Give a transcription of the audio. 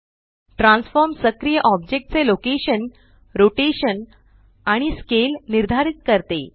transform सक्रिय object चे location rotation आणि स्केल निर्धारित करते